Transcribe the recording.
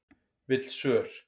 Vill svör